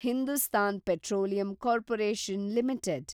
Hindustan petroleum corporation limited